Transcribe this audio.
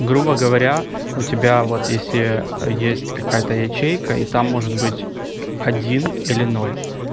грубо говоря у тебя вот если есть какая-то ячейка и там может быть один или ноль